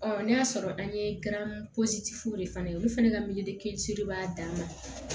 n'a y'a sɔrɔ an ye fule fana ye olu fana ka mili kelen de b'a dan na